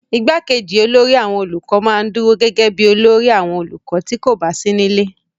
igbákejì olórí àwọn olùkọ́ ma ń dúró gẹ́gẹ́ bíi olórí àwọn olùkọ́ tí kò bá sí nílé